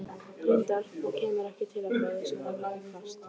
Reyndar, og kemur ekki til af góðu, svaraði pabbi hvasst.